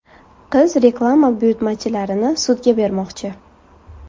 Qiz reklama buyurtmachilarini sudga bermoqchi.